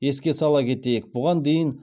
еске сала кетейік бұған дейін